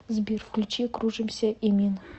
сбер включи кружимся эмин